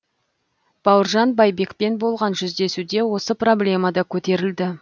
бауыржан байбекпен болған жүздесуде осы проблема да көтерілді